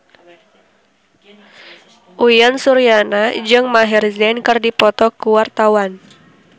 Uyan Suryana jeung Maher Zein keur dipoto ku wartawan